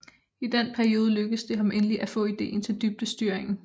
I den periode lykkedes det ham endelig at få ideen til dybdestyringen